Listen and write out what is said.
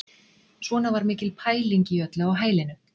Svona var mikil pæling í öllu á hælinu.